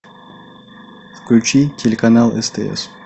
включи телеканал стс